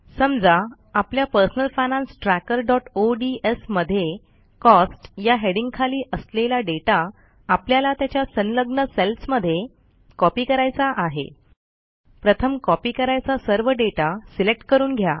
समजा आपल्या personal finance trackerओडीएस मध्ये कॉस्ट या हेडिंगखाली असलेला डेटा आपल्याला त्याच्या संलग्न सेल्समध्ये कॉपी करायचा आहे प्रथम कॉपी करायचा सर्व दाता सिलेक्ट करून घ्या